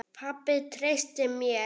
Pabbi treysti mér.